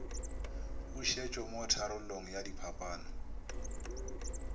pusetšo mo tharollong ya diphapano